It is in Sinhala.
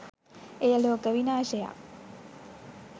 එය ලෝක විනාශයක්